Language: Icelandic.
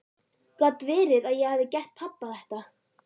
Gat verið að ég hefði gert pabba þetta?